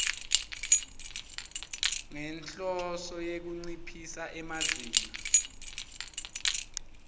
ngenhloso yekunciphisa emazinga